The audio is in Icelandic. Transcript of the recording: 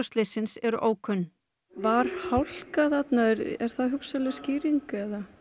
slyssins eru ókunn var hálka þarna er það hugsanleg skýring